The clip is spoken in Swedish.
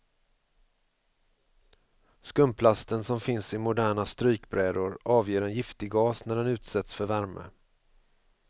Skumplasten som finns i moderna strykbrädor avger en giftig gas när den utsätts för värme.